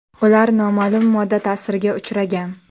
Ular noma’lum modda ta’siriga uchragan.